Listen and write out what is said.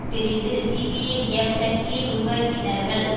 பிரிந்து சிபிஐஎம் கட்சியை உருவாக்கினர்கள்